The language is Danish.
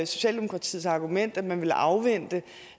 socialdemokratiets argument at man ville afvente